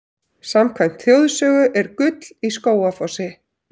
Samkvæmt þjóðsögu er gull í Skógafossi.